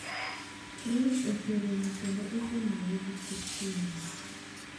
Friede oseromo kendo osemonje gi thoth thuondego.